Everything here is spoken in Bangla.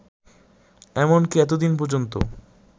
এমনকী এতদিন পর্যন্ত